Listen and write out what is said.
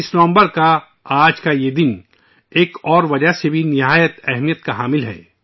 میرے پریوار جنوں ، آج کا دن، 26 نومبر ایک اور وجہ سے بہت اہم ہے